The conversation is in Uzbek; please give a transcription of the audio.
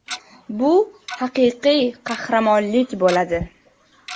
Bu haqiqiy qahramonlik bo‘ladi.